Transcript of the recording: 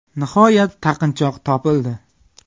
Nihoyat taqinchoq topildi.